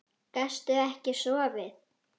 Gastu ekki sofið?